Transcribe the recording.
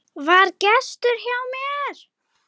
VAR GESTUR HJÁ MÉR!